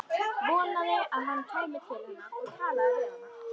Vonaði að hann kæmi til hennar og talaði við hana.